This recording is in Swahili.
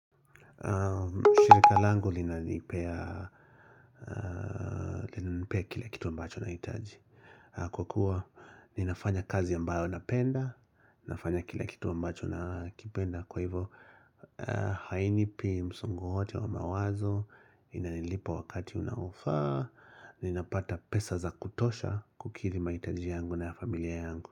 Shirika langu linanipea kila kitu ambacho nahitaji Kwa kuwa ninafanya kazi ambayo napenda Ninafanya kila kitu ambacho na kipenda Kwa hivyo hainipi msongo wowote wa mawazo Inalipa wakati unaofaa ninapata pesa za kutosha kukidhi mahitaji yangu na familia yangu.